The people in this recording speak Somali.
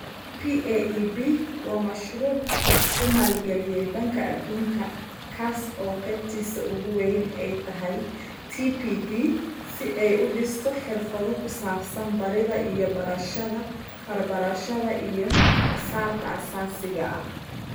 PAEB waa mashruuc uu maalgeliyay Baanka Adduunka, kaas oo qaybtiisa ugu weyni ay tahay TPD si ay u dhisto xirfado ku saabsan baridda iyo barashada farbarashada iyo xisaabta aasaasiga ah.